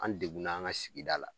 An degunna an ka sigida la